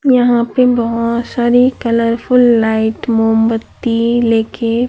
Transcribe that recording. यहां पे बहोत सारी कलरफुल लाइट मोमबत्ती ले के--